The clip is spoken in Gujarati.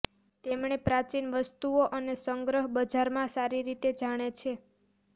તેમણે પ્રાચીન વસ્તુઓ અને સંગ્રહ બજારમાં સારી રીતે જાણે છે